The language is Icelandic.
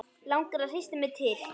Langar að hrista mig til.